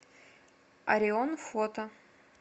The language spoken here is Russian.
орион фото